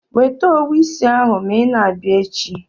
Weta owu isi ahụ ma ị na-abịa echi.